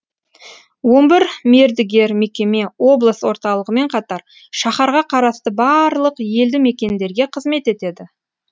он бір мердігер мекеме облыс орталығымен қатар шаһарға қарасты барлық елді мекендерге қызмет етеді